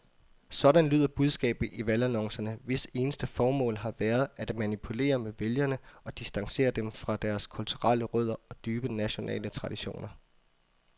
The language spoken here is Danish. Sådan lyder budskabet i valgannoncerne, hvis eneste formål har været at manipulere med vælgere og distancere dem fra deres kulturelle rødder og dybe nationale traditioner.